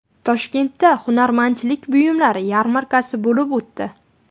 Toshkentda hunarmandchilik buyumlari yarmarkasi bo‘lib o‘tdi .